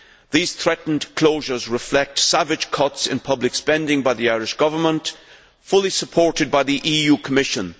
These threatened closures reflect savage cuts in public spending by the Irish Government, fully supported by the EU Commission.